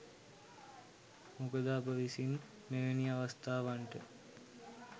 මොකද අප විසින් මෙවැනි අවස්ථාවන්ට